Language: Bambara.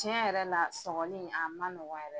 Tiɲɛ yɛrɛ la sɔgɔni a ma nɔgɔ yɛrɛ